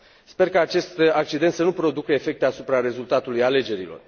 Sper ca acest accident să nu producă efecte asupra rezultatului alegerilor.